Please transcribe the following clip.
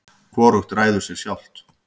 hvorugt ræður sér sjálft